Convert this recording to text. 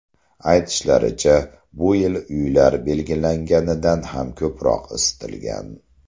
Aytishlaricha, bu yil uylar belgilanganidan ham ko‘proq isitilgan.